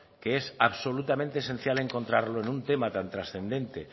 que es absolutamente esencial encontrarlo en un tema tan transcendente